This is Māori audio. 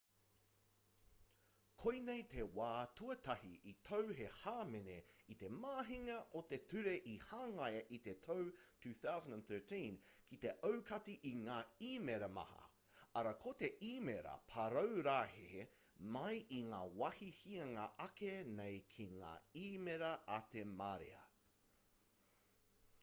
koinei te wā tuatahi i tau he hāmene i te mahinga o te ture i hangaia i te tau 2003 ki te aukati i ngā īmēra maha arā ko te īmēra paraurehe mai i ngā wāhi hianga ake nei ki ngā īmēra a te marea